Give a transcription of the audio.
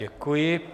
Děkuji.